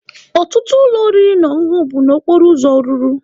Ọtụtụ ụlọ oriri na ọṅụṅụ bụ n'okporo ụzọ rụrụ.